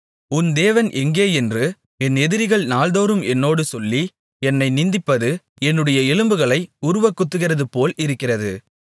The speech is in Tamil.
உன் தேவன் எங்கே என்று என் எதிரிகள் நாள்தோறும் என்னோடு சொல்லி என்னை நிந்திப்பது என்னுடைய எலும்புகளை உருவக்குத்துகிறதுபோல் இருக்கிறது